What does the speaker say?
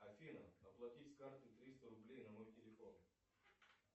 афина оплати с карты триста рублей на мой телефон